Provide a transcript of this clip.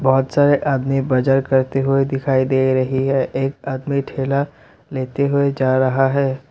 बहोत सारे आदमी बजार करते हुए दिखाई दे रहे है एक आदमी ठेला लेते हुए जा रहा है।